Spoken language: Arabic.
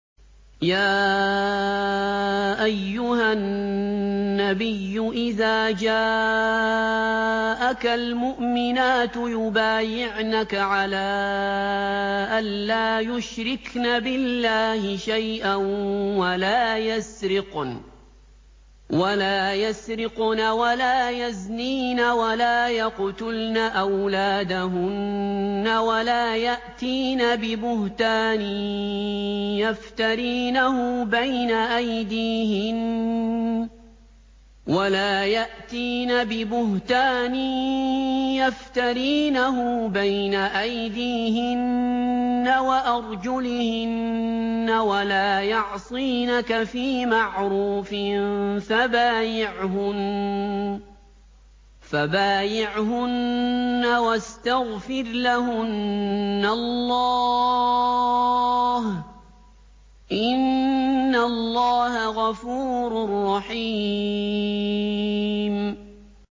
يَا أَيُّهَا النَّبِيُّ إِذَا جَاءَكَ الْمُؤْمِنَاتُ يُبَايِعْنَكَ عَلَىٰ أَن لَّا يُشْرِكْنَ بِاللَّهِ شَيْئًا وَلَا يَسْرِقْنَ وَلَا يَزْنِينَ وَلَا يَقْتُلْنَ أَوْلَادَهُنَّ وَلَا يَأْتِينَ بِبُهْتَانٍ يَفْتَرِينَهُ بَيْنَ أَيْدِيهِنَّ وَأَرْجُلِهِنَّ وَلَا يَعْصِينَكَ فِي مَعْرُوفٍ ۙ فَبَايِعْهُنَّ وَاسْتَغْفِرْ لَهُنَّ اللَّهَ ۖ إِنَّ اللَّهَ غَفُورٌ رَّحِيمٌ